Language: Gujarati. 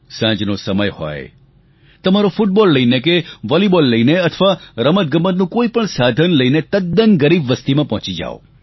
સાંજનો સમય હોય તમારો ફુટબોલ લઈને કે વોલીબોલ લઈને અથવા રમતગમતનું કોઈપણ સાધન લઈને તદ્દન ગરીબ વસ્તીમાં પહોંચી જાવ